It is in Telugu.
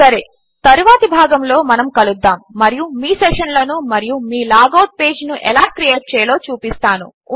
సరే తరువాతి భాగములో కలుద్దాము మరియు మీ సెషన్లను మరియు మీ లాగ్ అవుట్ పేజ్ను ఎలా క్రియేట్ చేయాలో చూపిస్తాను